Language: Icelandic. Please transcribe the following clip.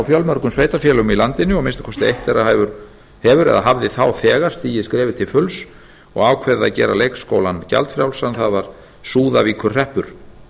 fjölmörgum sveitarfélögum í landinu og að minnsta kosti eitt þeirra hefur eða hafði þá þegar stigið skrefið til fulls og ákveðið að gera leikskólann gjaldfrjálsan það var súðavíkurhreppur